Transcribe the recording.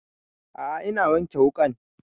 A'a ina wanke wuƙan